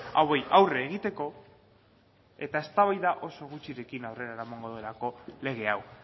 hauei aurre egiteko eta eztabaida oso gutxirekin aurrera eramango delako lege hau